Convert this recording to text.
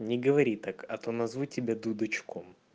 не говори так а то назову тебя дудочку